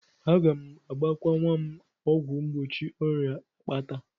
Aga m agbakwa nwa m ọgwụ mgbochi ọrịa akpata.